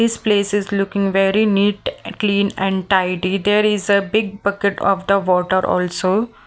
This place is looking very neat clean and tidy There is a big bucket of the water also.